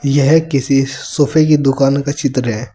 यह किसी सोफे की दुकान का चित्र है।